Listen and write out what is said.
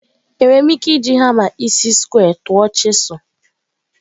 Enwere m ike iji hama isi square tụọ chisel?